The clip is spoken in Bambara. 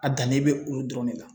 A dannen bɛ olu dɔrɔn de la